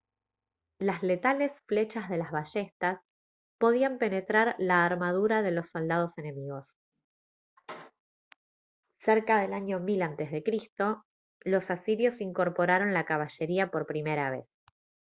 las letales flechas de las ballestas podían penetrar la armadura de los soldados enemigos cerca del año 1000 a c los asirios incorporaron la caballería por primera vez